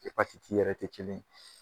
yɛrɛ tɛ kelen ye